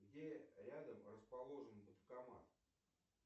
где рядом расположен банкомат